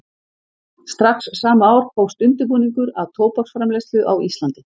Strax sama ár hófst undirbúningur að tóbaksframleiðslu á Íslandi.